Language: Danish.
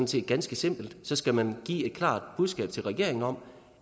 set ganske simpelt så skal man give et klart budskab til regeringen om